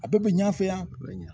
A bɛɛ bɛ ɲɛ an fɛ yan